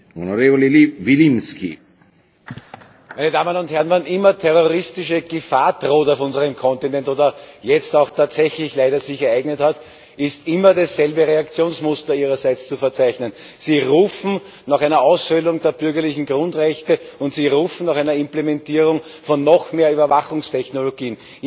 Herr Präsident! Wann immer terroristische Gefahr droht auf unserem Kontinent oder jetzt auch tatsächlich leider konkreten Ausdruck gefunden hat, ist immer das selbe Reaktionsmuster Ihrerseits zu verzeichnen Sie rufen nach einer Aushöhlung der bürgerlichen Grundrechte und sie rufen nach einer Implementierung von noch mehr Überwachungstechnologien.